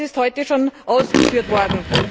Das ist heute schon ausgeführt worden.